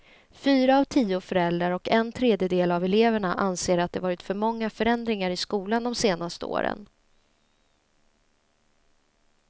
Fyra av tio föräldrar och en tredjedel av eleverna anser att det varit för många förändringar i skolan de senaste åren.